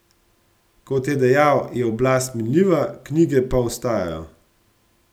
Kot je dejal, je oblast minljiva, knjige pa ostajajo.